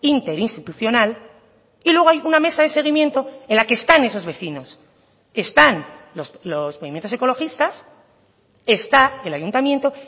interinstitucional y luego hay una mesa de seguimiento en la que están esos vecinos están los movimientos ecologistas está el ayuntamiento